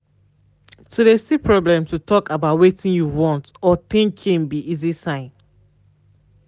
to de see problem to talk about wetin you want or thinking be easy sign.